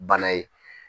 Bana ye